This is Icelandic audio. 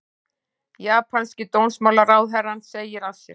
Japanski dómsmálaráðherrann segir af sér